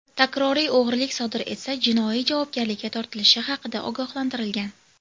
Takroriy o‘g‘rilik sodir etsa, jinoiy javobgarlikka tortilishi haqida ogohlantirilgan.